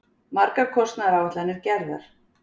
Margar kostnaðaráætlanir gerðar.